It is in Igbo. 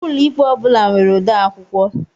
Ụlọikpe ọ bula nwere odeakwụkwọ